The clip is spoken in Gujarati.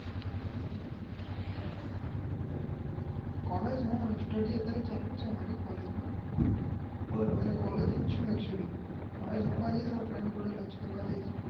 કોલેજ અત્યારે STUDY ચાલુ જ છે કોલેજ માં અત્યારે કોલેજ જ છુ